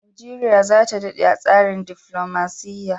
Nigeria zata dade a tsarin defilomaciya